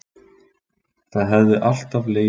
Það hefði alltaf legið fyrir